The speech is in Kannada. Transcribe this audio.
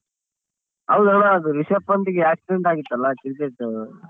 ಹೌದಣ್ಣ ಅದು ರಿಷಬ್ ಪಂತ್ ಗೆ accident ಆಗಿತ್ತಲ್ಲ ಅದ್ ತಿಳ್ದಯ್ತೊ?